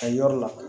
A yɔrɔ la